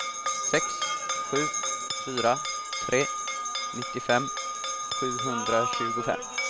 sex sju fyra tre nittiofem sjuhundratjugofem